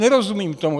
Nerozumím tomu.